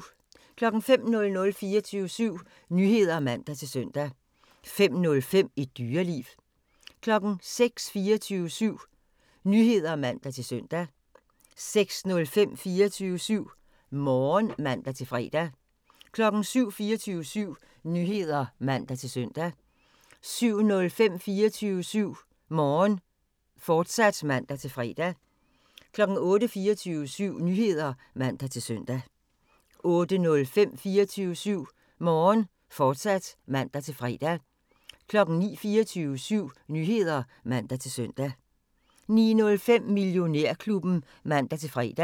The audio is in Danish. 05:00: 24syv Nyheder (man-søn) 05:05: Et Dyreliv 06:00: 24syv Nyheder (man-søn) 06:05: 24syv Morgen (man-fre) 07:00: 24syv Nyheder (man-søn) 07:05: 24syv Morgen, fortsat (man-fre) 08:00: 24syv Nyheder (man-søn) 08:05: 24syv Morgen, fortsat (man-fre) 09:00: 24syv Nyheder (man-søn) 09:05: Millionærklubben (man-fre)